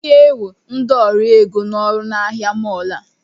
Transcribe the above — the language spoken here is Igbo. M ga-ewe ndị ọrụ ego n'ọrụ na ahịa mọọlụ a